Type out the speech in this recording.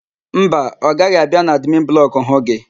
Mba, ọ gaghị abịa n'admin blọkụ hụ gị.